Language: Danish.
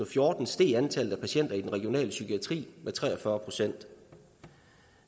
fjorten steg antallet af patienter i den regionale psykiatri med tre og fyrre procent